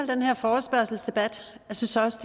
den her forespørgselsdebat jeg synes også